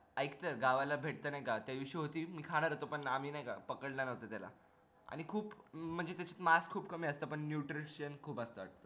एक तर गावाला भेटत नाही का त्या दिवशी होती मी खाणार होत आपण आम्ही नाय का पकडला नव्हतो त्याला आणि खूप म्हणजे त्याच मास खूप कमी असत nutrition खूप असत